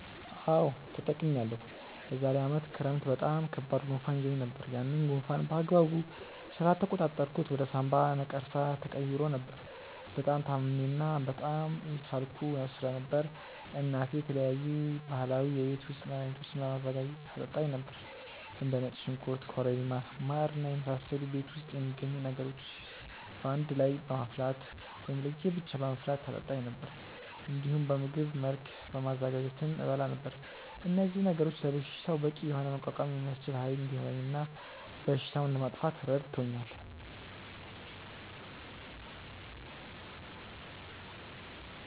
አዎ ተጠቅሜያለሁ። የዛሬ አመት ክረምት በጣም ከባድ ጉንፋን ይዞኝ ነበር። ያንን ጉንፋን በአግባቡ ስላልተቆጣጠርኩት ወደ ሳምባ ነቀርሳ ተቀይሮ ነበር። በጣም ታምሜ እና በጣም እየሳልኩ ስለነበር እናቴ የተለያዩ ባህላዊ የቤት ውስጥ መድሀኒቶችን በማዘጋጀት ታጠጣኝ ነበር። እንደ ነጭ ሽንኩርት ኮረሪማ ማር እና የመሳሰሉ ቤት ውስጥ የሚገኙ ነገሮችን በአንድ ላይ በማፍላት ወይም ለየ ብቻ በማፍላት ታጠጣኝ ነበር። እንዲሁም በምግብ መልክ በማዘጋጀትም እበላ ነበር። እነዚህ ነገሮች ለበሽታው በቂ የሆነ መቋቋም የሚያስችል ኃይል እንዲኖረኝ እና በሽታውንም ለማጥፋት ረድቶኛል።